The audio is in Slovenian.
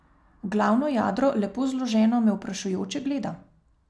Glavno jadro, lepo zloženo, me vprašujoče gleda.